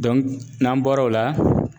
n'an bɔra o la.